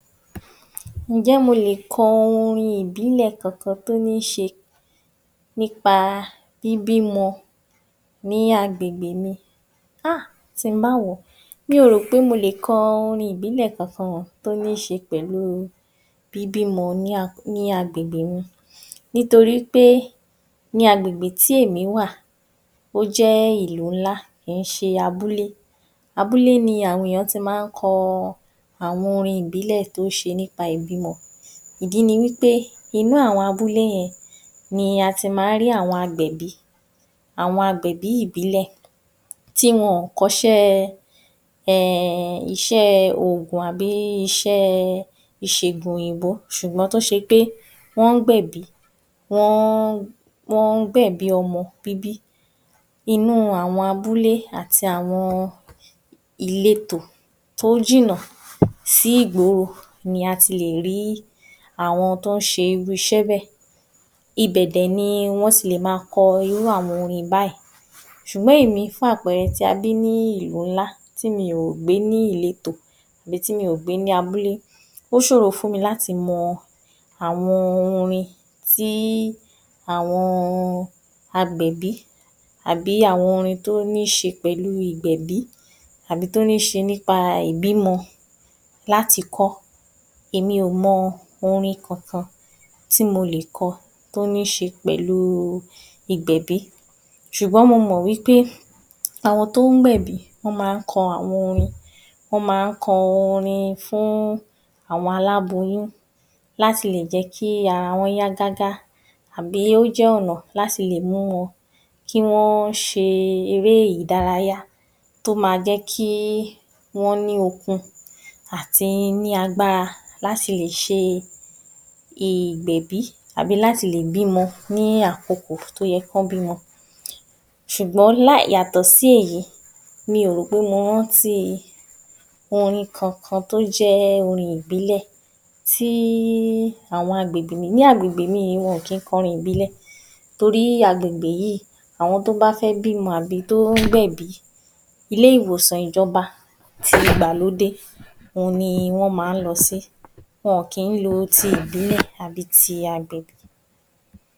Ǹjẹ́ mo lè kọ orin ìbílẹ̀ kankan tó ní ṣe nípa bíbímọ ní agbègbè mi, a! Tin bá wo mi ò rò pé mo lè kọ orin ìbílẹ̀ kankan tó ní ṣe pẹ̀lú bíbímọ ní agbègbè mi nítorípé ní agbègbè tí èmi wà ó jẹ́ ìlú ńlá kìí ṣe abúlé, abúlé ni àwọn èyàn ti ma ńkọ àwọn orin ìbílẹ̀ tó ṣe nípa ìbímọ, ìdí ni wípé inú àwọn abúlé yẹn ni ati máa ń rí àwọn agbẹ̀bí ìbílẹ̀ tì wọn ò kọ́ṣẹ́ ẹ ẹ iṣẹ́ ògùn àbí iṣẹ́ ìṣègùn òyìnbó tó se pé wọ́n ń gbẹ̀bí, wọ́n ń gbẹ̀bí ọmọ bíbí, inú àwọn abúlé àti àwọn ìletò tó jìnà sí ìgboro ni a ti lè rí àwọn tó ń ṣe irú iṣẹ́ bẹ. Ibẹ̀ dè ni wọ́n ti lè ma kọ irú àwọn orin báyìí, sùgbọ́n èmi fún àpẹrẹ ti a bí ní ìlú ńlá tí mi ò gbé ní ìletò àbí tí mi ò gbé ní abúlé ó ṣòro láti mọ àwọn orin tí àwọn agbẹ̀bí àbí àwọn orin tó ní ṣe pẹ̀lú ìgbẹ̀bí, àbí tó níse nípa ìbímọ láti kọ́, èmi ò mọ orin kankan tí mo lè kọ tó níse pẹ̀lú ìgbẹ̀bí sùgbọ́n mo mọ̀ wípé àwọn tó ń gbẹ̀bí ma ń kọ àwọn orin, wọ́n ma ń kọ orin fún àwọn aláboyún láti lè jẹ̀ kí ara wọn ó yá gágá àbí ó jẹ́ ọ̀nà láti lè mú wọn kí wọ́n ṣe eré ìdárayá tó ma jẹ́ kí wọ́n ní okun àti ní agbára láti ṣe ìgbẹ̀bí, àbí láti lè bímọ ní àkokò tó yẹ kán bímọ sùgbón láì yàtọ̀ sí èyí mi ò rò pé mo rántí orin kankan tó jẹ́ orin ìbílẹ̀ tí í àwọn agbègbè mi, ní agbègbè mi yí wọn ò kín kọrin ìbílẹ̀ torí agbègbè yí àwọn tó bá fẹ́ bímo àbí tó ń gbẹ̀bí ilé ìwòsàn ìjọba ti ìgbàlódé òhun ni wọ́n ma ń lọ sí. Wọn kín lo ti ìbílẹ̀ àbí ti agbẹ̀bí